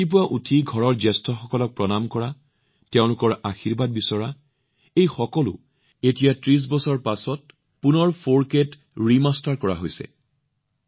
ৰাতিপুৱা উঠি নিজৰ ঘৰৰ জ্যেষ্ঠসকলক প্ৰণাম জনোৱা তেওঁলোকৰ আশীৰ্বাদ বিচৰা এই সকলোবোৰ বস্তু এতিয়া ৩০বছৰৰ পিছত পুনৰ ৪কেত আয়ত্ত কৰা হৈছে